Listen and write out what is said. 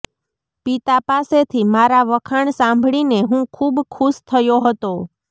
પિતા પાસેથી મારા વખાણ સાંભળીને હું ખૂબ ખુશ થયો હતો